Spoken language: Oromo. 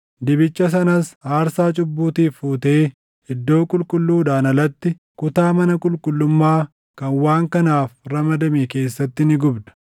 Dibicha sanas aarsaa cubbuutiif fuutee iddoo qulqulluudhaan alatti, kutaa mana qulqullummaa kan waan kanaaf ramadame keessatti ni gubda.